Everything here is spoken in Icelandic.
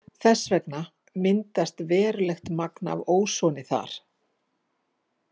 Þess vegna myndast verulegt magn af ósoni þar.